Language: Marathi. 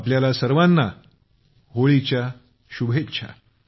आपल्याला सर्वांना होळीच्या शुभेच्छा